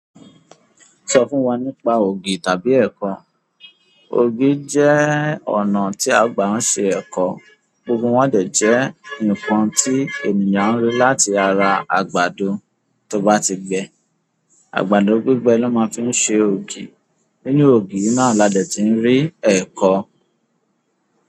Sọ fún wa nípa ògì tàbí ẹ̀kọ. Ògì jẹ́ ọ̀nà tí à ń gbà ṣe ẹ̀kọ. Ògì wọn dẹ jẹ́ nǹkan tí ènìyàn ń rí láti ara àgbàdo tó bá ti gbẹ. Àgbàdo gbígbẹ ló máa fí ń ṣe ògì. Nínú ògì náà la dẹ̀ ti ń rí ẹ̀kọ.